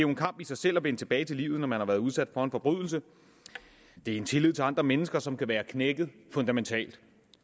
en kamp i sig selv at vende tilbage til livet når man har været udsat for en forbrydelse det er en tillid til andre mennesker som kan være knækket fundamentalt